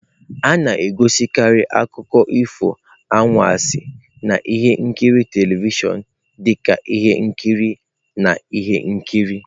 A na-egosikarị akụkọ ifo anwansi na ihe nkiri telivishọn dị ka ihe nkiri na ihe nkiri.